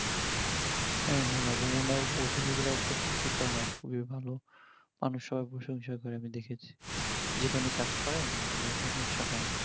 হ্যাঁ হ্যাঁ অভিনয় গুলো খুবি ভালো মানে সবাই প্রশংসা করে আমি দেখেছি যেখানেই কাজ করে ভালো প্রশংসা করে আমি দেখেছি